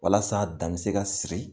Walasa' dan bɛ se ka sigi